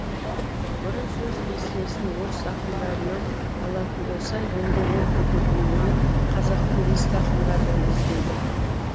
бұрын сөз кестесін орыс ақындарынан алатын болса енді ол үлгіні қазақтың ескі ақындарынан іздейді